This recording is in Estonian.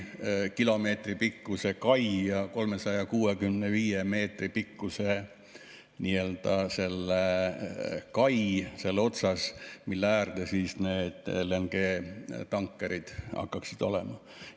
Kilomeetripikkune kai ja 365 meetri pikkune nii-öelda selle kai ots, mille ääres need LNG-tankerid hakkaksid olema.